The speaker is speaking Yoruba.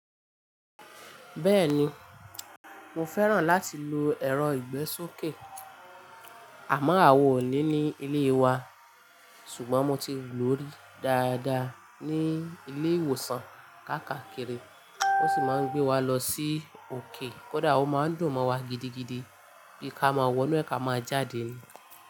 Bẹ́ẹ̀ni, mo fẹ́ràn láti lo ẹ̀rọ ìgbésókè. Àmọ́ àwa ò ní ní ilé wa. Ṣùgbọ́n mo ti lò ríi dáadáa ní ilé ìwòsàn kákàkiri. Wọ́n sì máa ń gbé wa lọ sí òkè. Kódà ó máa ń dùn mọ́ wa gidigidi bí ka máa wọnú ẹ̀ ká máa jáde ni.